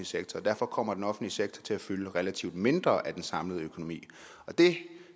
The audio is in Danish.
sektor og derfor kommer den offentlige sektor til at fylde relativt mindre af den samlede økonomi og det